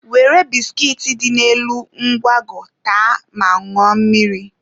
Were biskit dị n'elu nkwago taa ma ṅụọ mmiri.